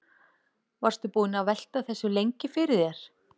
Varstu búinn að velta þessu lengi fyrir þér?